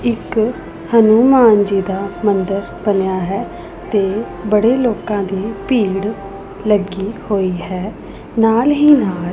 ਇੱਕ ਹਨੂਮਾਨ ਜੀ ਦਾ ਮੰਦਰ ਬਣਿਆ ਹੈ ਤੇ ਬੜੇ ਲੋਕਾਂ ਦੀ ਭੀੜ ਲੱਗੀ ਹੋਈ ਹੈ ਨਾਲ ਹੀ ਨਾਲ --